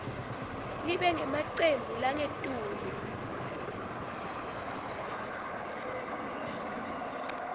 libe ngemacembu langetulu